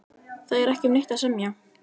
Það er ekki um neitt að semja